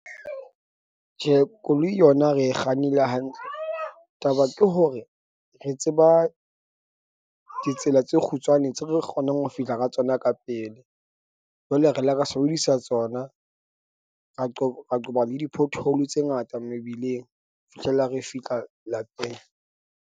Tjhe, koloi yona re kgannile hantle. Taba ke hore re tseba ditsela tse kgutshwane tse re kgonang ho fihla ka tsona ka pele. Jwale re ile ra sebedisa tsona, ra qoba ra qoba le di-pothole tse ngata mebileng fihlella re fihla lapeng.